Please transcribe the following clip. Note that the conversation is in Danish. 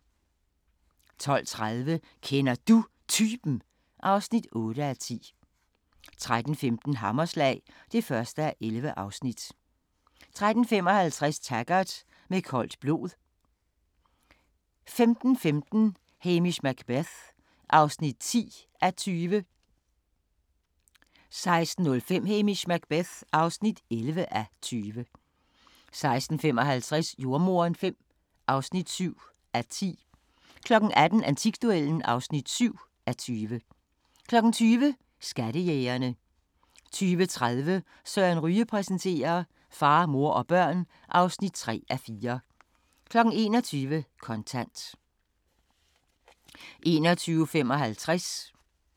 12:30: Kender Du Typen? (8:10) 13:15: Hammerslag (1:11) 13:55: Taggart: Med koldt blod 15:15: Hamish Macbeth (10:20) 16:05: Hamish Macbeth (11:20) 16:55: Jordemoderen V (7:10) 18:00: Antikduellen (7:20) 20:00: Skattejægerne 20:30: Søren Ryge præsenterer: Far, mor og børn (3:4) 21:00: Kontant